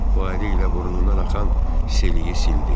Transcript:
O əli ilə burnundan axan seliyi sildi.